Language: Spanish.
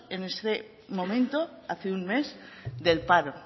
en ese momento hace un mes del paro